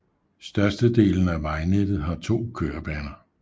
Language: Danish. Størstedelen af vejnettet har to kørebaner